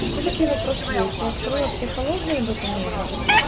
и всё-таки вопрос есть я открыла психологию документ